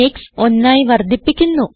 ക്സ്1 ആയി വർദ്ധിപ്പിക്കുന്നു